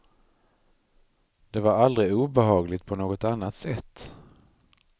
Det var aldrig obehagligt på något annat sätt.